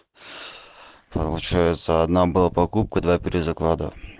получается одна была покупка два перезаклада